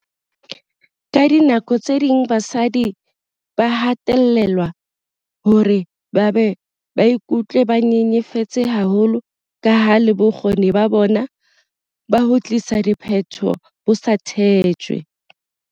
Ka dinako tse ding basadi ba hatellelwa hore ba be ba ikutlwe ba nyenyefetse haholo kaha le bokgoni ba bona ba ho tlisa diphetoho bo sa tshetjwe.